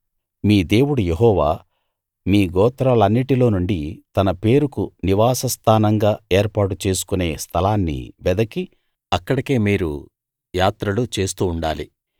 మీ దేవుడు యెహోవా మీ గోత్రాలన్నిటిలో నుండి తన పేరుకు నివాసస్థానంగా ఏర్పాటు చేసుకునే స్థలాన్ని వెదికి అక్కడికి మీరు యాత్రలు చేస్తూ ఉండాలి